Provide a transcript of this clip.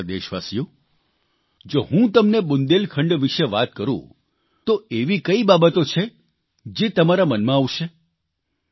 મારા વ્હાલા દેશવાસીઓ જો હું તમને બુંદેલખંડ વિષે વાત કરૂં તો એવી કંઇ બાબતો છે જે તમારા મનમાં આવશે